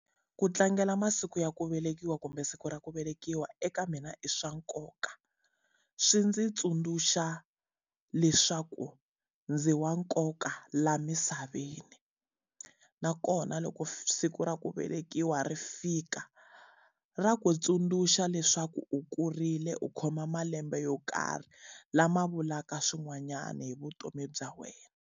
Ku tlangela masiku ya ku velekiwa kumbe siku ra ku velekiwa eka mina i swa nkoka, swi ndzi tsundzuxa leswaku ndzi wa nkoka laha misaveni. Nakona loko siku ra ku velekiwa ri fika, ra ku tsundzuxa leswaku u kurile u khoma malembe yo karhi lama vulaka swin'wanyani hi vutomi bya wena.